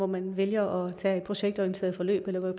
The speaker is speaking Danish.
man vælger at tage et projektorienteret forløb eller